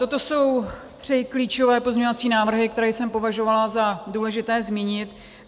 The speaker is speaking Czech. Toto jsou tři klíčové pozměňovací návrhy, které jsem považovala za důležité zmínit.